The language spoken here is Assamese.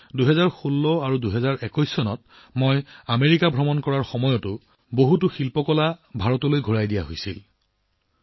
আনকি ২০১৬ আৰু ২০২১ চনত আমেৰিকা ভ্ৰমণৰ সময়তো বহু শিল্পকৰ্ম ভাৰতলৈ ঘূৰাই দিয়া হৈছিল